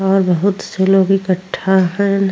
और बहुत से लोग इकट्ठा हएन।